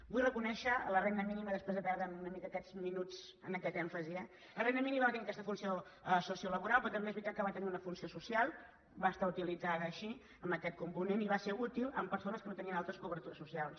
vull reconèixer la renda mínima després de perdre’m una mica aquests minuts en aquest èmfasi eh la renda mínima va tenir aquesta funció sociolaboral però també es veritat que va tenir una funció social va ser utilitzada així amb aquest component i va ser útil a persones que no tenien altres cobertures socials